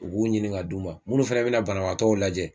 U k'u ɲinin ka d' u ma munnu fɛnɛ be na banabaatɔw lajɛ